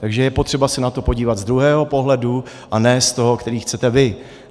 Takže je potřeba se na to podívat z druhého pohledu a ne z toho, který chcete vy.